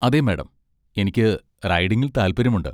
അതെ, മാഡം, എനിക്ക് റൈഡിംഗിൽ താൽപ്പര്യമുണ്ട്.